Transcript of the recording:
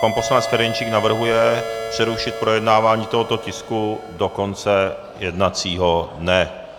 Pan poslanec Ferjenčík navrhuje přerušit projednávání tohoto tisku do konce jednacího dne.